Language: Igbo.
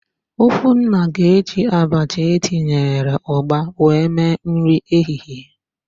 Okwunna ga-eji abacha etinyere ụgba wee mee nri ehihie.